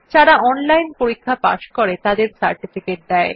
যারা অনলাইন পরীক্ষা পাস করে তাদের সার্টিফিকেট দেয়